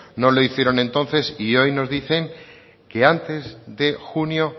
no lo hicieron entonces y hoy nos dicen que antes de junio